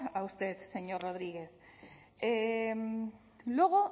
a usted señor rodriguez luego